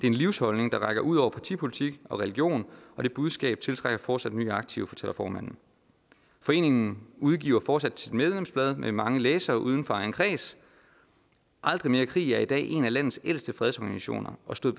en livsholdning der rækker ud over partipolitik og religion og det budskab tiltrækker fortsat nye aktive fortæller formanden foreningen udgiver fortsat sit medlemsblad med mange læsere udenfor egen kreds aldrig mere krig er i dag en af landets ældste fredsorganisationer og stod